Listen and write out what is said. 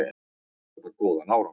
Þetta bar góðan árangur.